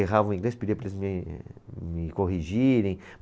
Errava o inglês, pedia para eles me, me corrigirem.